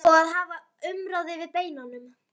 Ég hafði öll umráð yfir beinunum